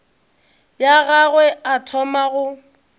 ya gagwe a thoma go